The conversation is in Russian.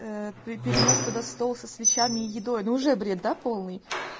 ээ при перенёс туда стол со свечами и едой ну уже бред да полный